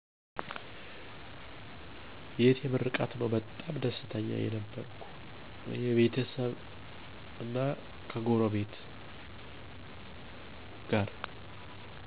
የእህቴ ምርቃል ነው በጣም ደስተኛ የነበርኩ የቤተሰብና ከጎረቤት ጋር